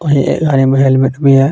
गाड़ी में हेलमेट भी है.